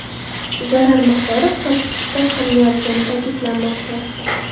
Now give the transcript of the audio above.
Zarar miqdori hisob-kitob qilinayotgani ta’kidlanmoqda.